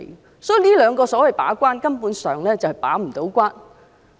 因此，這兩個所謂的"把關"，根本上不能把關。